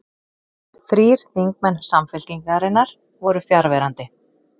Þrír þingmenn Samfylkingarinnar voru fjarverandi